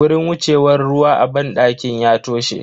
Wurin wucewan ruwa a banɗakin ya toshe.